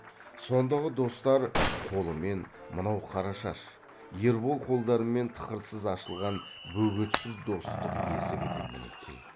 сондағы достар қолымен мынау қарашаш ербол қолдарымен тықырсыз ашылған бөгетсіз достық есігі де мінекей